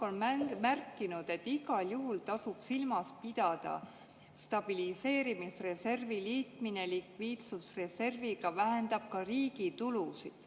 Eesti Pank on märkinud, et igal juhul tasub silmas pidada, et stabiliseerimisreservi liitmine likviidsusreserviga vähendab ka riigi tulusid.